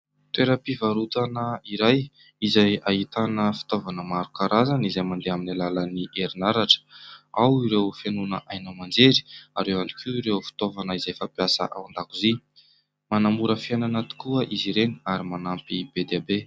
Toeram-pivarotana iray izay ahitana fitaovana maro karazana izay mandeha amin'ny alalan'ny erinaratra. Ao ireo fihainoana haino aman-jery ary ao ihany koa ireo fitaovana izay fampiasa ao an-dakozia. Manamora fiainana tokoa izy ireny ary manampy be dia be.